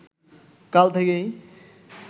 কাল থেকেই